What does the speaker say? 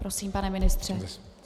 Prosím, pane ministře.